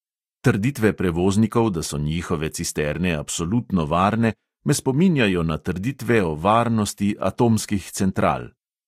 Trditve prevoznikov, da so njihove cisterne absolutno varne, me spominjajo na trditve o varnosti atomskih central.